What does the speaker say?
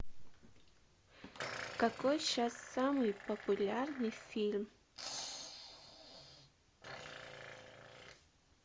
какой сейчас самый популярный фильм